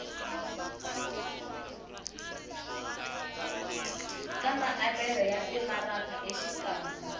ka maavelo ya timaraka exikarhi